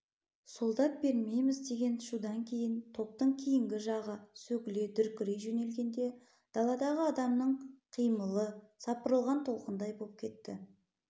солдат бермейміз деген шудан кейін топтың кейінгі жағы сөгіле дүркірей жөнелгенде даладағы адамның қимылы сапырылған толқындай боп кетті